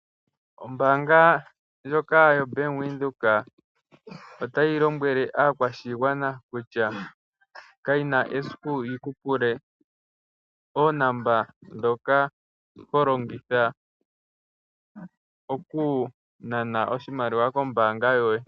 Ombaanga ndyoka yoBank Windhoek otayi lombwele aakwashigwana kutya kayina esiku yiku pule oonomola dhoka holongitha okunana oshimaliwa kombaanga yoye.